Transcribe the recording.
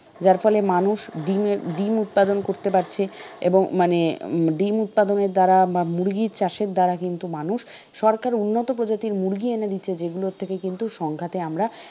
যার ফলে মানুষ ডিমের ডিম উৎপাদন করতে পারছে এবং মানে ডিম উৎপাদনের দ্বারা বা মুরগি চাষের দ্বারা কিন্তু মানুষ সরকার উন্নত প্রজাতির মুরগি এনে দিচ্ছে যেগুলো থেকে কিন্তু সংখ্যাতে আমরা